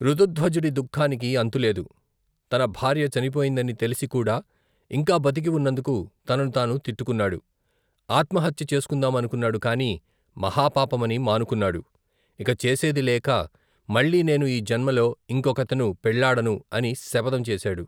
ఋతుధ్వజుడి ధుఃఖానికి అంతులేదు, తన భార్య చనిపోయిందని తెలిసికూడా, ఇంకా బతికి వున్నందుకు తనను తాను తిట్టుకున్నాడు, ఆత్మహత్య చేసుకుందామనుకున్నాడు కాని, మహాపాపమని మానుకున్నాడు, ఇక చేసేదిలేక మళ్ళీ నేను ఈ జన్మలో, ఇంకొకతెను పెళ్ళాడను, అని శపధం చేశాడు.